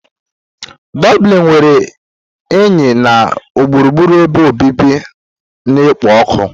Doblini nwere enyi na gburugburu ebe obibi na-ekpo ọkụ.